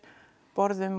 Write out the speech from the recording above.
borðum